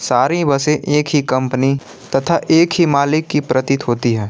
सारी बसें एक ही कंपनी तथा एक ही मालिक की प्रतीत होती हैं।